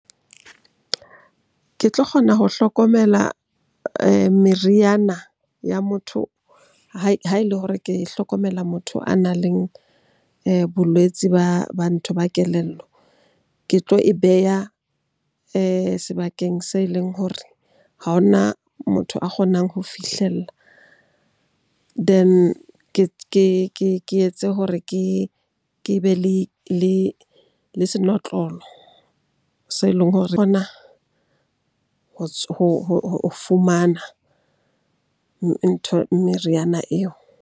Ke tlo kgona ho hlokomela meriana ya motho ha ele hore ke hlokomela motho a nang le bolwetsi ba ntho ba kelello. Ke tlo e beha sebakeng se leng hore ha ho na motho a kgonang ho fihlella. Then ke etse hore ke be le senotlolo se leng hore kgona ho fumana meriana eo.